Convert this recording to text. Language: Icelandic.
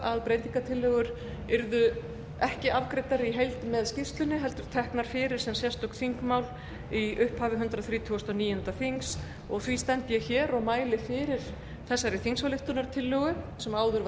að breytingartillögur yrðu ekki afgreiddar í heild með skýrslunni heldur teknar fyrir sem sérstök þingmál í upphafi hundrað þrítugasta og níunda þings og því stend ég hér og mæli fyrir þessari þingsályktunartillögu sem áður var